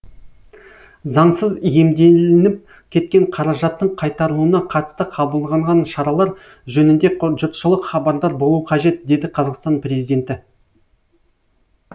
заңсыз иемделініп кеткен қаражаттың қайтарылуына қатысты қабылғанған шаралар жөнінде жұртшылық хабардар болуы қажет деді қазақстан президенті